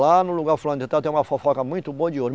Lá no lugar fulano de tal tem uma fofoca muito boa de ouro.